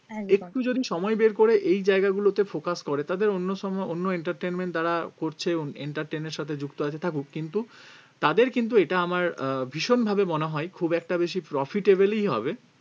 একদম একটু যদি সময় বের করে এই জায়গাগুলোতে focus করে তাদের অন্য সব অন্য entertainment যারা করছে অন্য entertain এর সাথে যুক্ত আছে থাকুক কিন্তু তাদের কিন্তু এটা আমার আহ ভীষণভাবে মনে হয় খুব একটা বেশি profitable ই হবে